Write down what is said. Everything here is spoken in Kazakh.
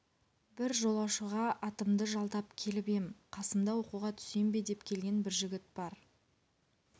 бір жолаушыға атымды жалдап келіп ем қасымда оқуға түсем бе деп келген бір жігіт бар